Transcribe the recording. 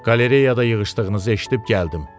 Qalereyada yığışdığınızı eşidib gəldim.